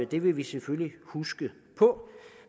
det vil vi selvfølgelig huske